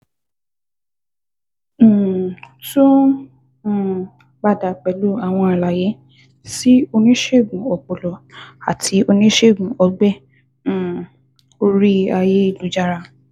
um Tún um padà pẹ̀lú àwọn àlàyé sí oníṣègùn ọpọlọ àti oníṣègùn ọgbẹ́ um orí ayélujára